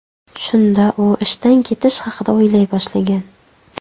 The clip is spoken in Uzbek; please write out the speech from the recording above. Shunda u ishdan ketish haqida o‘ylay boshlagan.